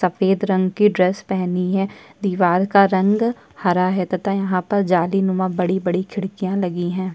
सफेद रंग की ड्रेस पहनी है दीवाल का रंग हरा है तथा यहाँ पर जालीनुमा बड़ी-बड़ी खिड़कियां लगी हैं।